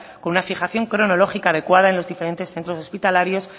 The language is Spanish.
con una fijación cronológica adecuado en los diferentes centros hospitalarios